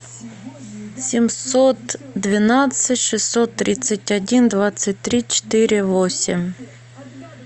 семьсот двенадцать шестьсот тридцать один двадцать три четыре восемь